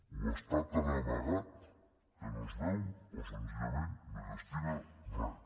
o està tan amagat que no es veu o senzillament no hi destina res